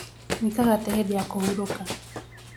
Wĩkaga atĩa hĩndi ya kũhurũka